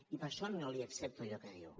i per això no li accepto allò que diu